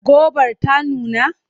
Gobar ta nuna?